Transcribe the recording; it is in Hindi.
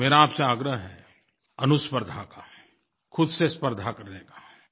तो मेरा आपसे आग्रह है अनुस्पर्द्धा का ख़ुद से स्पर्द्धा करने का